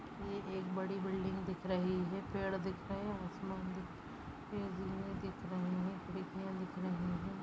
ये बड़ी बिल्डिंग दिख रही हैं पेड़ दिख रहे हैं आसमान दिख रहे हैं दिख रहे हैं।